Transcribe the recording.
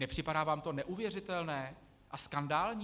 Nepřipadá vám to neuvěřitelné a skandální?